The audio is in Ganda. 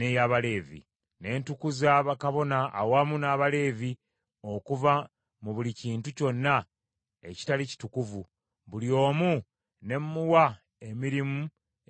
Ne ntukuza bakabona awamu n’Abaleevi okuva mu buli kintu kyonna ekitali kitukuvu, buli omu ne mmuwa emirimu egy’okukola.